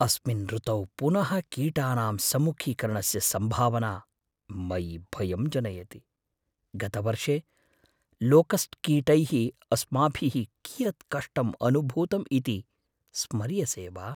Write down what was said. अस्मिन् ऋतौ पुनः कीटानां सम्मुखीकरणस्य सम्भावना मयि भयं जनयति। गतवर्षे लोकस्ट् कीटैः अस्माभिः कियत् कष्टम् अनुभूतम् इति स्मर्यसे वा?